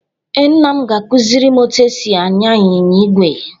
Ee, nna m ga-akụziri m otú e si anya anyịnya ígwè